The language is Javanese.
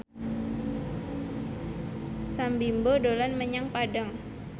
Sam Bimbo dolan menyang Padang